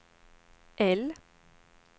L